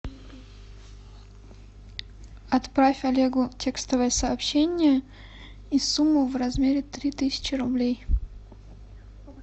отправь олегу текстовое сообщение и сумму в размере три тысячи рублей